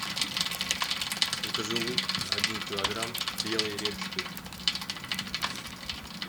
закажи лук один килограмм белый репчатый